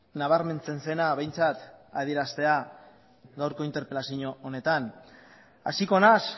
nabarmentzen zena behintzat adieraztea gaurko interpelazio honetan hasiko naiz